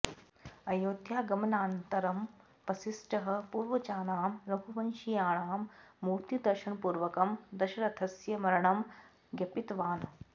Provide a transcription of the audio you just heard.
अयोध्यागमनानन्तरं वसिष्ठः पूर्वजानां रघुवंशीयाणां मूर्तिदर्शनपूर्वकं दशरथस्य मरणं ज्ञपितवान्